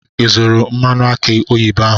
Ị zụtara mmanụ aki oyibo ahụ?